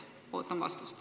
Ootan vastust.